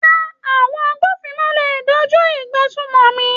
Rárá, àwọn agbófinró ò lè dá kojú ìgbésùmòmí.